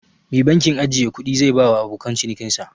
Me bankin ajjiye kudi zai bawa abokan cinikin sa?